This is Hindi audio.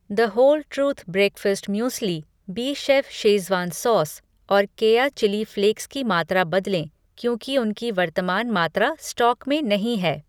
The whole truth breakfast muesli, BChef schezwan sauce और केया चिली फ़्लेक्स की मात्रा बदलें क्योंकि उनकी वर्तमान मात्रा स्टॉक में नहीं है।